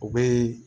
O bɛ